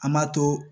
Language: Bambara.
An m'a to